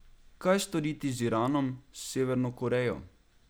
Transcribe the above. Kaj storiti z Iranom, s Severno Korejo?